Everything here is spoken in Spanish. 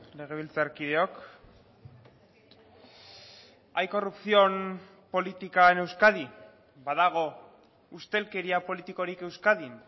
legebiltzarkideok hay corrupción política en euskadi badago ustelkeria politikorik euskadin